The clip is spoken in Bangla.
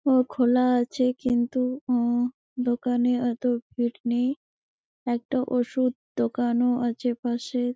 ও খোলা আছে কিন্তু ও দোকানে ওতো ভিড় নেই একটা ওষুধ দোকানও আছে পাশে।